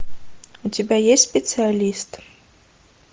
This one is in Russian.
у тебя есть специалист